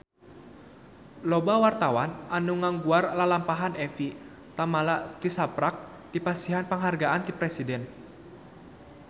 Loba wartawan anu ngaguar lalampahan Evie Tamala tisaprak dipasihan panghargaan ti Presiden